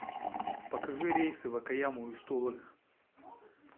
покажи рейсы в окаяму из тулы